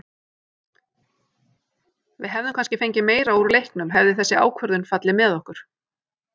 Við hefðum kannski fengið meira úr leiknum hefði þessi ákvörðun fallið með okkur.